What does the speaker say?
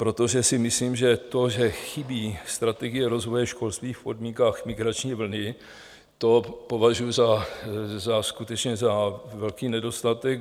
Protože si myslím, že to, že chybí strategie rozvoje školství v podmínkách migrační vlny, to považuji skutečně za velký nedostatek.